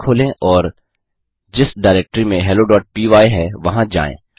terminal खोलें और जिस डायरेक्टरी में helloपाय है वहाँ जाएँ